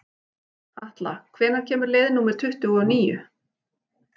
Atla, hvenær kemur leið númer tuttugu og níu?